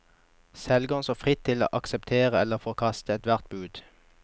Selger står fritt til å akseptere eller forkaste ethvert bud.